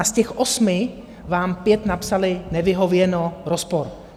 A z těch osmi vám pět napsali "nevyhověno, rozpor".